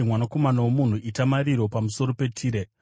“Mwanakomana womunhu, chema pamusoro peTire.